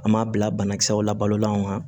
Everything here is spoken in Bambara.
An m'a bila banakisɛw la balolan